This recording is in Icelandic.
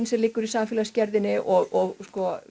sem liggur í samfélagsgerðinni og